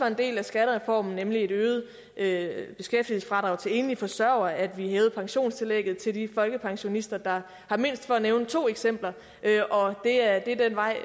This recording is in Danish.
en del af skattereformen nemlig et øget øget beskæftigelsesfradrag til enlige forsørgere og at vi hævede pensionstillægget til de folkepensionister der har mindst for at nævne to eksempler og det er den vej